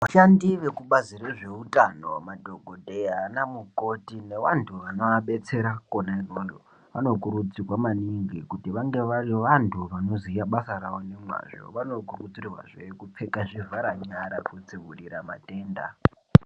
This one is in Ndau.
Vashandi vekubazi rezveutano madhokodheya naana mukoti nevantu vanoabetsera kona ikweyo vanokurudzirwa maningi kuti vange vari vantu vanoziya basa ravo nemazvo, vanokurudzirwa zve kupfeka zvivhara nyara kudzivirira matenda.